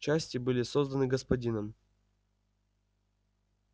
части были созданы господином